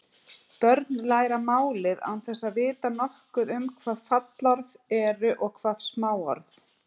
Börn læra málið án þess að vita nokkuð um hvað fallorð eru og hvað smáorð.